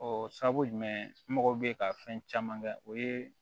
Ɔ sabu jumɛn mago bɛ ka fɛn caman kɛ o ye